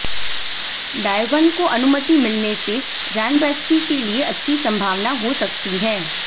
डायवन को अनुमति मिलने से रैनबैक्सी के लिए अच्छी संभावना हो सकती है